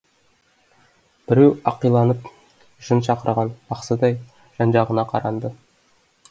біреу ақиланып жын шақырған бақсыдай жан жағына қаранды